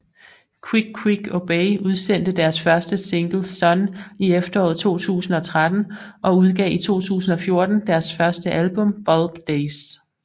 Quick Quick Obey udsendte deres første single Sunn i efteråret 2013 og udgav i 2014 deres første album Bulb Days